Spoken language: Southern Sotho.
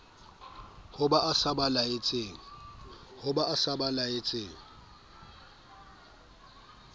ho ba e sa belaetseng